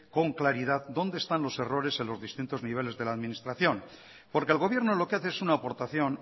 con claridad dónde están los errores en los distintos niveles de la administración porque el gobierno lo que hace es una aportación